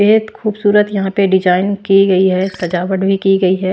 बहुत खूबसूरत यहां पे डिजाइन की गई है सजावट भी की गई है।